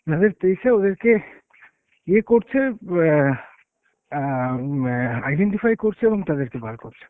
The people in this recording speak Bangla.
যাদের পেয়েছে ওদেরকে ইয়ে করছে, অ্যাঁ অ্যাঁ ম্যা identify করছে এবং তাদেরকে বার করছে।